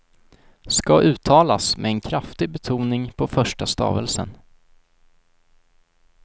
Ska uttalas med en kraftig betoning på första stavelsen.